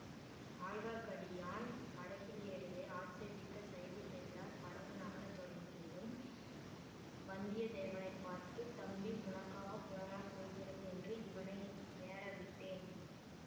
ஆழ்வார்க்கடியான் படகில் ஏறியதை ஆட்சேபித்த சைவப் பெரியார் படகு நகர தொடங்கியதும் வந்தியத்தேவனை பார்த்து தம்பி உனக்காகப் போனால் போகிறது என்று இவனை ஏறவிட்டேன்